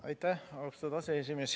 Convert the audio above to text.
Aitäh, austatud aseesimees!